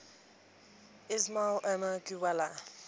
ismail omar guelleh